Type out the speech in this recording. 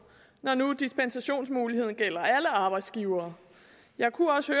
når nu dispensationsmuligheden gælder alle arbejdsgivere jeg kunne også